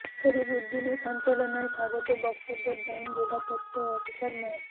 শরীফ উদ্দিনের সঞ্চালনায় স্বাগত বক্তব্য দেন জেলা তথ্য অফিসার মো